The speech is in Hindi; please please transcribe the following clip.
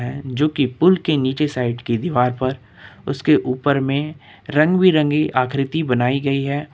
जो की पुल के नीचे साइड की दीवार पर उसके ऊपर में रंग बिरंगे आकृति बनाई गई है।